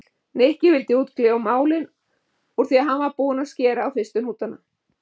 Nikki vildi útkljá málin úr því hann var búinn að skera á fyrstu hnútana.